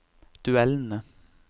duellene